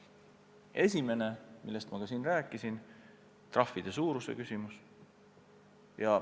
Esiteks, nagu ma juba rääkisin, trahvide suuruse küsimus.